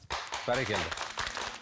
бәрекелді